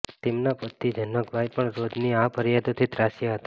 તેમના પતિ જનકભાઈ પણ રોજની આ ફરિયાદોથી ત્રાસ્યા હતા